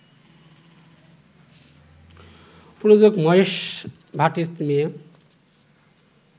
প্রযোজক মহেশ ভাটের মেয়ে